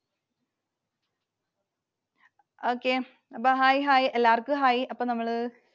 Okay, അപ്പൊ Hi, Hi. എല്ലാവർക്കും Hi. അപ്പൊ നമ്മള്